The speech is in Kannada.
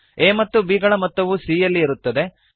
a ಮತ್ತು b ಗಳ ಮೊತ್ತವು c ಯಲ್ಲಿ ಇರುತ್ತದೆ